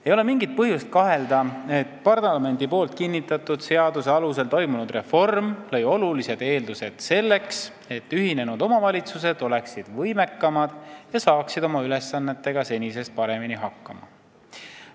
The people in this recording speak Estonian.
" Ei ole mingit põhjust kahelda, et parlamendis kinnitatud seaduse alusel toimunud reform lõi eeldused selleks, et ühinenud omavalitsused oleksid võimekamad ja saaksid oma ülesannetega senisest paremini hakkama.